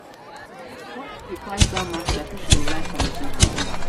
bola dey price down market as if she go like am if na her own.